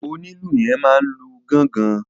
Onílù yẹn máa n lu gángan.